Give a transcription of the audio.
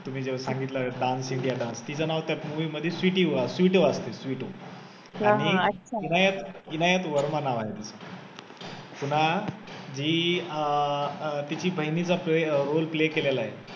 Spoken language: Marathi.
तुम्ही जे सांगितलं dance india dance तीच नाव त्या movie मधी स्वीटी अस स्वीटू स्वीटू असतं आणि इनायत इनायत वर्मा नाव आहे तीच तिना ती अं तिच्या बहिणीचा role play केलेला आहे.